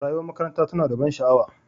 Rayuwar makaranta tana da ban sha'awa.